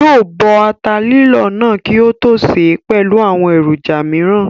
Yóò bọ ata lílọ̀ náà kí ó tó sè é pẹ̀lú àwọn èròjà mìíràn